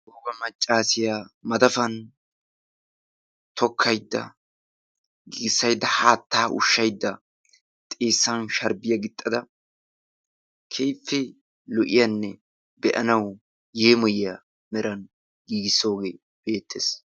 wogga maccaassiya madafan tokkaydda bul'aydda haattaa ushaydda ba xeessan sharbbiya qachada keehippe lo'iyanne meran yeemoyiya hanotan giigisooge beetees.